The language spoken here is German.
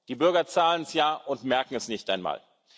Die Bürger zahlen es ja und merken es nicht einmal.